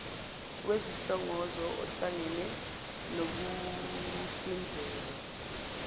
wesihlongozo ohlangene nokuhlinzekwa